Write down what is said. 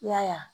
I y'a ye